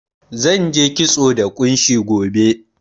Zan je kitso da ƙunshi gobe.